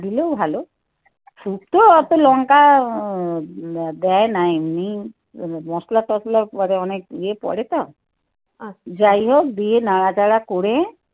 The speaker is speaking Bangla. দিলেও ভালো শুক্তো অতো লঙ্কা দেয় না এমনি মশলা টসলা করে অনেক ইয়ে পড়ে তো যাই হোক দিয়ে নাড়া চড়া করে